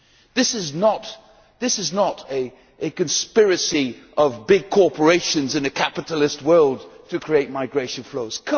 This is not a conspiracy of big corporations in a capitalist world to create migration flows.